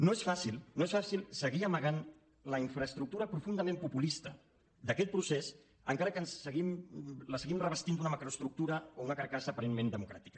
no és fàcil no és fàcil seguir amagant la infraestructura profundament populista d’aquest procés encara que la seguim revestint d’una macroestructura o una carcassa aparentment democràtica